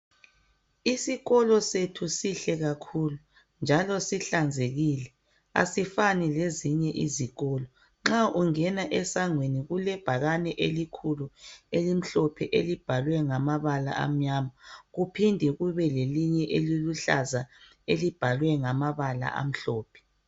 Isikolo sethu sihle kakhulu njalo sihlanzekile .Asifani lezinye izikolo. Nxa ungena esangweni kulebhakane elikhulu elimhlophe elibhalwe ngamabala amnyama . Kuphinde kube lelinye eliluhlaza elibhalwe ngamabala amhlophe.